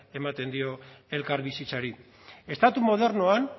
ematen dio elkarbizitzari estatu modernoan